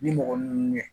Ni mɔgɔ ninnu ye